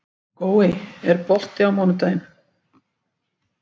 Gói, er bolti á mánudaginn?